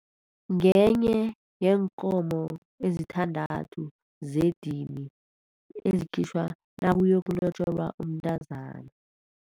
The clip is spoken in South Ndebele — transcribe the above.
Ngenye yeenkomo ezisithandathu zedini ezikhitjhwa nakuyokulotjolwa umntazana.